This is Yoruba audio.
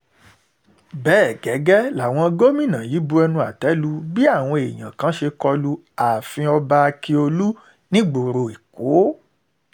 bẹ́ẹ̀ gẹ́gẹ́ làwọn gómìnà yìí bu ẹnu àtẹ́ lu bí àwọn èèyàn kan ṣe kọlu ààfin ọba ákíọ̀lù nígboro èkó